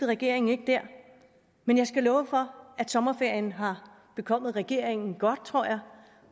regeringen ikke dér men jeg skal love for at sommerferien har bekommet regeringen godt tror jeg